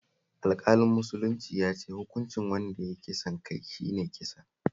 Alƙalin musuluncin ya ce hukuncin wanda ya yi kisan kai shi ne kisa